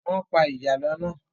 Wọ́n pa ìjàlọ́ náà.